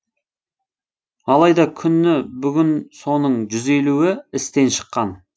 алайда күні бүгін соның жүз елуі істен шыққан